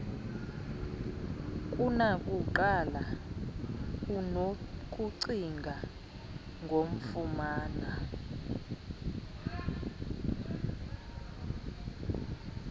kunakuqala unokucinga ngokufumana